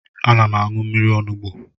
Ana m aṅụ mmiri onugbo.